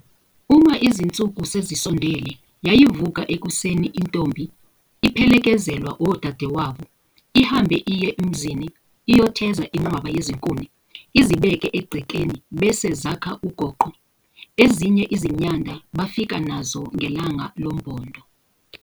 uma izinsuku sezisondele yayivuka ekuseni intombi iphelekezelwa odadewabo ihambe iye emzini iyotheza inqwaba yezinkuni izibeke egcekeni bese zakha igoqo, ezinye izinyanda bafika nazo ngelanga lombondo.